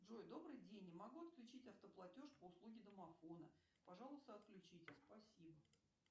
джой добрый день не могу отключить автоплатеж по услуге домофона пожалуйста отключите спасибо